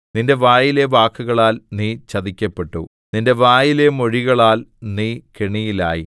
നിന്റെ വായിലെ വാക്കുകളാൽ നീ ചതിക്കപ്പെട്ടു നിന്റെ വായിലെ മൊഴികളാൽ നീ കെണിയിലായി